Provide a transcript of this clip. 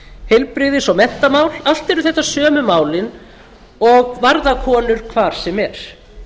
heilbrigðis og menntamál allt eru þetta sömu málin og varða konur hvar sem er